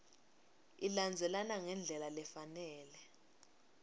ilandzelana ngendlela lefanele